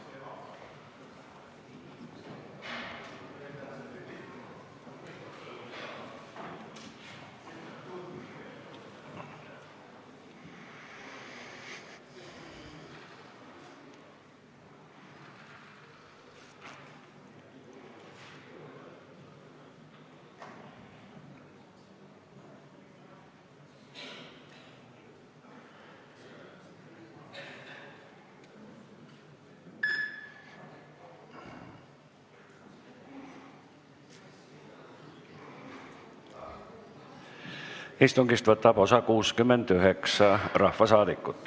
Kohaloleku kontroll Istungist võtab osa 69 rahvasaadikut.